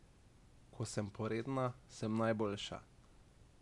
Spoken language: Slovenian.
Ko sem poredna, sem najboljša.